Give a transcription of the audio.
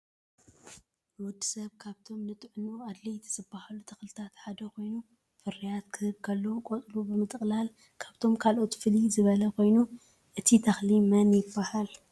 ን ወድሰብ ካብቶም ንጥዕንኡ ኣድለይቲ ዝበሃሉ ተኽልታት ሓደ ኮይኑ ፍርያት ክህብ ከሎ ቆፅሉ ብምጥቕላል ካብቶም ካልኦት ፍለይ ዝበለ ኮይኑ እቲ ተኽሊ መን ይበሃል።